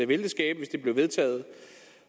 vil det skabe hvis det bliver vedtaget